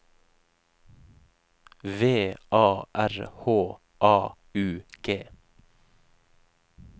V A R H A U G